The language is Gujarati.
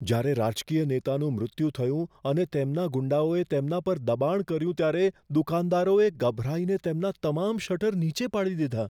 જ્યારે રાજકીય નેતાનું મૃત્યુ થયું અને તેમના ગુંડાઓએ તેમના પર દબાણ કર્યું ત્યારે દુકાનદારોએ ગભરાઈને તેમના તમામ શટર નીચે પાડી દીધા.